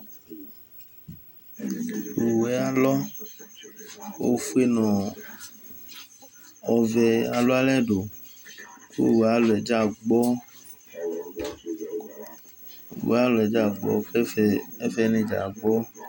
owue alɔ ofue no ɔvɛ alo alɛ do ko owue aye alɔɛ dza agbɔ owue aye alɔɛ dza agbɔ ko ɛfɛ ni dza agbɔ